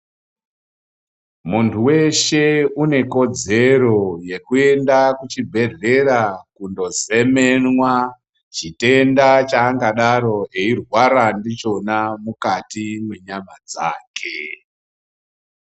Munthu weshe une kodzero yekuenda kuchibhedhlera kundozemenwa chitenda chaangadaro eirwara ndichona mukati mwenyama dzake.